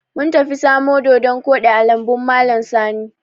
Mun tafi samo doɗon koɗi a lambun malam Sani.